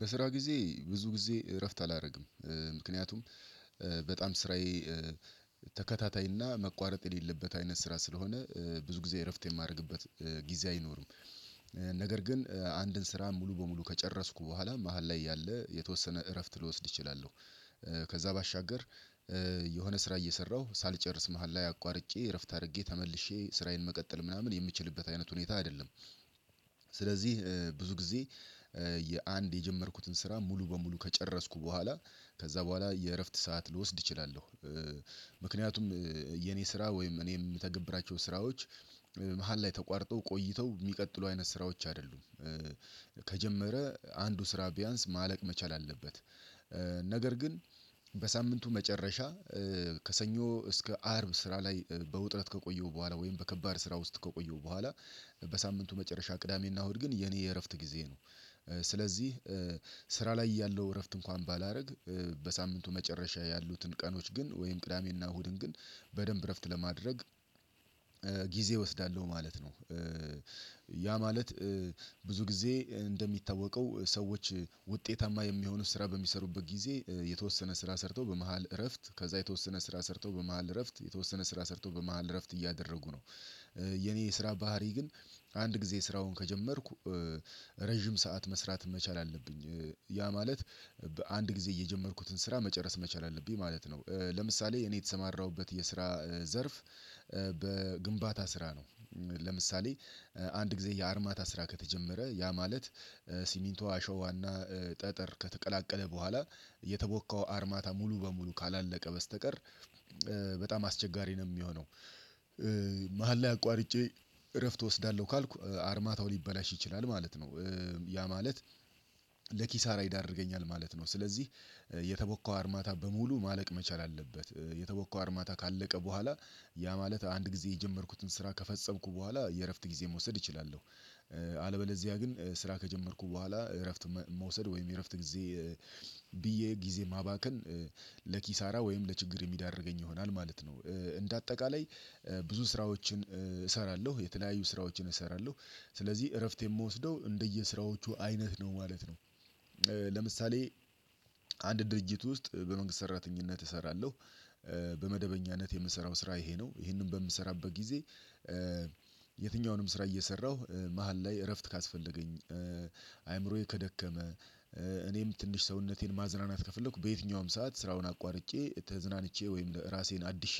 በስራ ጊዜ ብዙ ጊዜ እረፍት አላደርግም ምክንያቱም በጣም ስራዬ ተከታታይና መቋረጥ የሌለበት አይነት ስራ ስለሆነ ብዙ ጊዜ እረፍት የማደርግበት ጊዜ አይኖርም ነገር ግን አንድን ስራ ሙሉ በሙሉ ከጨረስኩ በኋላ መሃል ላይ ያለ የተወሰነ እረፍት ልወስድ እችላለሁ። ከዛ ባሻገር የሆነ ስራ እየሰራሁ ሳልጨርስ መሃል ላይ አቋርጬ እረፍት አድርጌ ተመልሼ ስራዬን መቀጠልም ምናምን የምችልበት አይነት ሁኔታ አይደለም። ስለዚህ ብዙ ጊዜ የአንድ የጀመርኩትን ስራ ሙሉ በሙሉ ከጨረስኩ በኋላ ከዛ በኋላ የእረፍት ሰዓት ልወስድ እችላለሁ። ምክንያቱም የኔ ስራ ወይም እኔ የምተገብራቸው ስራዎች መሃል ላይ ተቋርጠው ቆይተው የሚቀጥሉ አይነት ስራዎች አይደሉም። ከጀመረ አንዱ ስራ ቢያንስ ማለቅ መቻል አለበት። ነገር ግን በሳምንቱ መጨረሻ ከሰኞ እስከ አርብ ስራ ላይ በውጥረት ከቆየው በኋላ ወይም በከባድ ስራ ውስጥ ከቆየሁ በኋላ በሳምንቱ መጨረሻ ቅዳሜና እሁድ ግን የኔ የእረፍት ጊዜ ነው። ስለዚህ ስራ ላይ እያለሁ እረፍት እንኳን ባላደርግ በሳምንቱ መጨረሻ ያሉትን ቀኖች ግን ወይም ቅዳሜና እሁድን ግን በደንብ እረፍት ለማድረግ ጊዜ እወስዳለሁ ማለት ነው። ያ ማለት ብዙ ጊዜ እንደሚታወቀው ሰዎች ውጤታማ የሚሆኑት ስራ በሚሰሩበት ጊዜ የተወሰነ ስራ ሰርቶ በመሃል እረፍት ከዛ የተወሰነ ስራ ሰርቶ በመሃል እረፍት የተወሰነ ስራ ሰርቶ በመሃል እረፍት እያደረጉ ነው። የኔ የስራ ባህሪ ግን አንድ ጊዜ ስራውን ከጀመርኩ ረጅም ሰዓት መስራት መቻል አለብኝ ያ ማለት በአንድ ጊዜ የጀመርኩትን ስራ መጨረስ መቻል አለብኝ ማለት ነው። ለምሳሌ እኔ የተሰማራሁበት የስራ ዘርፍ በግንባታ ስራ ነው። ለምሳሌ አንድ ጊዜ የአርማታ ስራ ከተጀመረ ያ ማለት ሲሚንቶ አሸዋና ጠጠር ከተቀላቀለ በኋላ የተቦካው አርማታ ሙሉ በሙሉ ካላለቀ በስተቀር በጣም አስቸጋሪ ነው የሚሆነው። መሃል ላይ አቋርጬ እረፍት እወስዳለሁ ካልኩ አርማታው ሊበላሽ ይችላል ማለት ነው። ያ ማለት ለኪሳራ ይዳርገኛል ማለት ነው። ስለዚህ የተቦካው አርማታ በሙሉ ማለቅ መቻል አለበት የተቦካው አርማታ ካለቀ በኋላ ያ ማለት አንድ ጊዜ የጀመርኩትን ስራ ከፈጸምኩ በኋላ የእረፍት ጊዜ መውሰድ እችላለሁ። አለበለዚያ ግን ስራ ከጀመርኩ በኋላ እረፍት መውሰድ ወይም እረፍት ጊዜ ብዬ ጊዜ ማባከን ለኪሳራ ወይም ለችግር የሚዳርገኝ ይሆናል ማለት ነው። እንደ አጠቃላይ ብዙ ስራዎችን እሰራለሁ የተለያዩ ስራዎችን እሰራለሁ ስለዚህ እረፍት የምወስደው እንደየስራዎቹ አይነት ነው ማለት ነው። ለምሳሌ አንድ ድርጅት ውስጥ በመንግስት ሰራተኝነት እሰራለሁ። በመደበኛነት የምሰራው ስራ ይሄ ነው ይሄንን በምሰራበት ጊዜ የትኛውንም ስራ እየሰራሁ መሃል ላይ እረፍት ካስፈለገኝ አይምሮዬ ከደከመ እኔም ትንሽ ሰውነቴን ማዝናናት ከፈለኩ በየትኛውም ሰዓት ስራውን አቋርጬ ተዝናንቼ ወይም ራሴን አድሼ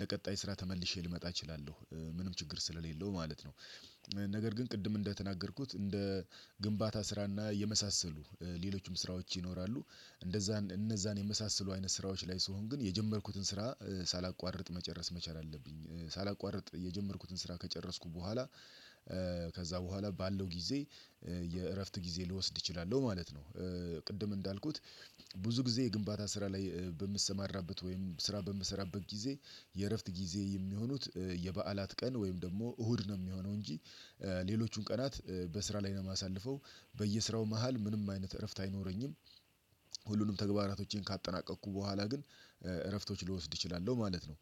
ለቀጣይ ስራ ተመልሼ ልመጣ እችላለሁ ምንም ችግር ስለሌለው ማለት ነው። ነገር ግን ቅድም እንደተናገርኩት እንደ ግንባታ ስራና የመሳሰሉ ሌሎችም ስራዎች ይኖራሉ። እንደዛ እነዛን የመሳሰሉ አይነት ስራዎች ላይ ስሆን ግን የጀመርኩትን ስራ ሳላቋርጥ መጨረስ መቻል አለብኝ ሳላቋርጥ የጀመርኩትን ስራ ከጨረስኩ በኋላ ከዛ በኋላ ባለው ጊዜ የእረፍት ጊዜ ልወስድ እችላለሁ ማለት ነው። ቅድም እንዳልኩት ብዙ ጊዜ የግንባታ ስራ ላይ በምሰማራበት ወይም ስራ በምሰራበት ጊዜ የእረፍት ጊዜ የሚሆኑት የበዓላት ቀን ወይም ደግሞ እሁድ ነው የሚሆነው እንጂ ሌሎቹን ቀናት በስራ ላይ ነው የማሳልፈው በየስራው መሃል ምንም አይነት እረፍት አይኖረኝም። ሁሉንም ተግባራቶቼን ካጠናቀቅኩ በኋላ ግን እረፍቶች ልወስድ እችላለሁ ማለት ነው።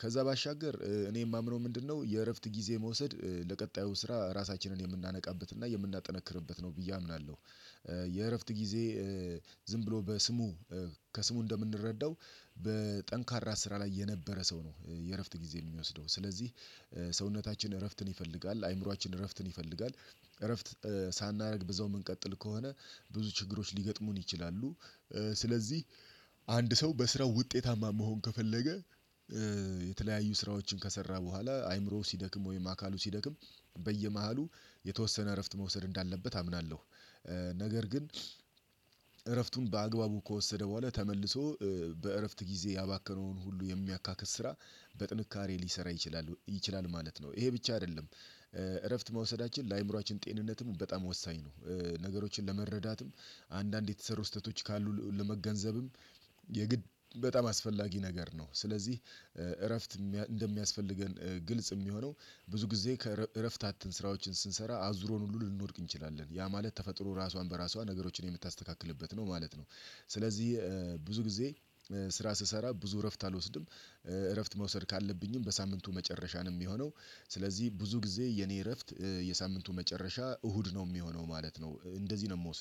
ከዛ ባሻገር እኔ የማምነው ምንድነው የእረፍት ጊዜ መውሰድ ለቀጣዩ ስራ ራሳችንን የምናነቃበት እና የምናጠነክርበት ነው ብዬ አምናለሁ። የእረፍት ጊዜ ዝም ብሎ በስሙ ከስሙ እንደምንረዳው በጠንካራ ስራ ላይ የነበረ ሰው ነው የእረፍት ጊዜ የሚወስደው ስለዚህ ሰውነታችን እረፍትን ይፈልጋል አይምሮአችን እረፍትን ይፈልጋል። እረፍት ሳናደርግ በዚያው የምንቀጥል ከሆነ ብዙ ችግሮች ሊገጥሙን ይችላሉ። ስለዚህ አንድ ሰው በስራው ውጤታማ መሆን ከፈለገ የተለያዩ ስራዎችን ከሰራ በኋላ አይምሮው ሲደክም ወይም አካሉ ሲደክም በየመሃሉ የተወሰነ እረፍት መውሰድ እንዳለበት አምናለሁ። ነገር ግን እረፍቱን በአግባቡ ከወሰደ በኋላ ተመልሶ በእረፍት ጊዜ ያባከነውን ሁሉ የሚያካክስ ስራ በጥንካሬ ሊሰራ ይችላል ይችላል ማለት ነው ይሄ ብቻ አይደለም። እረፍት መውሰዳችን ለአእምሮአችን ጤንነትም በጣም ወሳኝ ነው ነገሮችን ለመረዳትም አንዳንድ የተሰሩ ስህተቶች ካሉ ለመገንዘብም የግድ በጣም አስፈላጊ ነገር ነው ስለዚህ እረፍት እንደሚያስፈልገን ግልጽ የሚሆነው ብዙ ጊዜ ከእረፍት አተን ስራዎችን ስንሰራ አዙሮን ሁሉ ልንወድቅ እንችላለን ያ ማለት ተፈጥሮ ራሷን በራሷ ነገሮችን የምታስተካክልበት ነው ማለት ነው። ስለዚህ ብዙ ጊዜ ስራ ስሰራ ብዙ እረፍት አልወስድም። እረፍት መውሰድ ካለብኝም በሳምንቱ መጨረሻ ነው የሚሆነው ስለዚህ ብዙ ጊዜ የኔ እረፍት የሳምንቱ መጨረሻ እሁድ ነው የሚሆነው ማለት ነው። እንደዚህ ነው የምወስደው